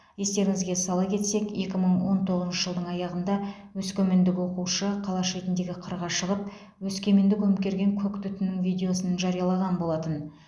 естеріңізге сала кетсек екі мың он тоғызыншы жылдың аяғында өскемендік оқушы қала шетіндегі қырға шығып өскеменді көмкерген көк түтіннің видеосын жариялаған болатын